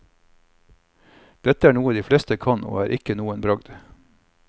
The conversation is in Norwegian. Dette er noe de fleste kan, og er ikke noen bragd.